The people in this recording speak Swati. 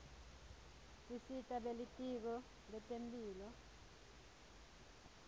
isita belitiko letemphilo